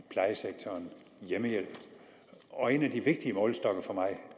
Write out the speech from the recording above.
hjemmehjælpen og en af de vigtige målestokke for mig